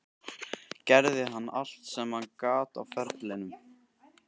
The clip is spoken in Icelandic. Gerði hann allt sem hann gat á ferlinum?